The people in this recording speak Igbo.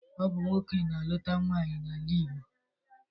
Ọ bụ nwoke na-aluta nwaanyị n'ala Igbo.